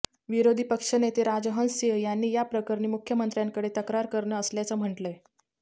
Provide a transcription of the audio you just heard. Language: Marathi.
विरोधी पक्षनेते राजहंस सिंह यांनी या प्रकरणी मुख्यमंत्र्यांकडे तक्रार करणार असल्याचं म्हटलंय